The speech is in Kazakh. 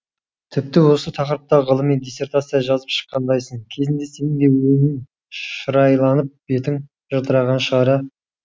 тіпті осы тақырыпта ғылыми диссертация жазып шыққандайсың кезінде сенің де өңің шырайланып бетің жылтыраған шығар